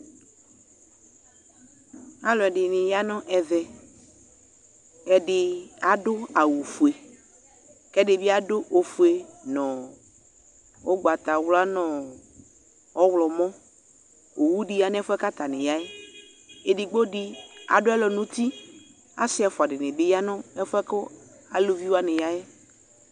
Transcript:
Alʋɛdini yanʋ ɛvɛ Ɛdi adʋ awʋ fue, kʋ ɛdi bi adʋ ofue nʋ ʋgbatawla nʋ ɔwlɔmɔ Owu di ya nʋ ɛfuɛ kʋ atani ya yɛ Ɛdigbo di adʋ alɔ nʋ uti Asi ɛfua di ni bi ya nʋ ɛfuɛ kʋ alʋvi wani ya yɛ